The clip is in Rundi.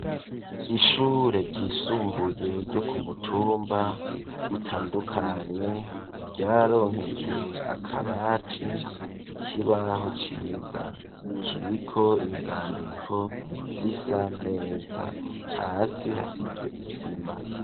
Ishure ryisumbuye ryo ku mutumba utandukanye ryararonkejwe akabati ikibaho ciza kiriko inzandiko zisa neza, hasi hasize isima.